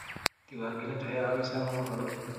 Diiwaangelintu waxay ka caawisaa maamulka dhulka.